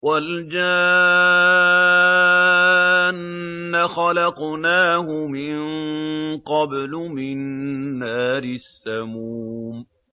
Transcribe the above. وَالْجَانَّ خَلَقْنَاهُ مِن قَبْلُ مِن نَّارِ السَّمُومِ